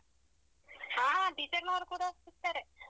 ಹಾ, teacher ನವರು ಕೂಡಾ ಸಿಗ್ತಾರೆ.